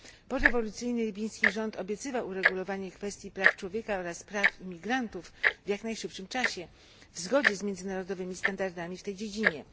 Porewolucyjny libijski rząd obiecywał uregulowanie kwestii praw człowieka oraz praw imigrantów w jak najszybszym czasie w zgodzie z międzynarodowymi standardami w tej dziedzinie.